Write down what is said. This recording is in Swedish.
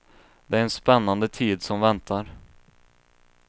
Det är en spännande tid som väntar.